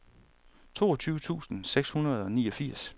toogtyve tusind seks hundrede og niogfirs